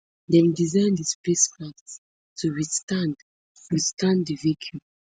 dem design di spacecraft to withstand withstand di vacuum